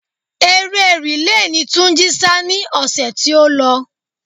Eré rìle ni Túnjí sá ni ọ̀sẹ̀ tí ó lọ.